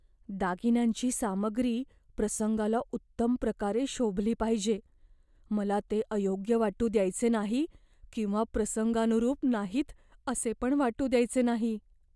दागिन्यांची सामग्री प्रसंगाला उत्तम प्रकारे शोभली पाहिजे. मला ते अयोग्य वाटू द्यायचे नाही किंवा प्रसंगानुरूप नाहीत असे पण वाटू द्यायचे नाही.